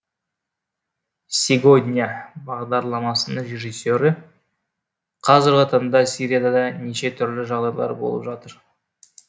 сегодня бағдарламасының режиссері қазіргі таңда сирияда да неше түрлі жағдайлар болып жатыр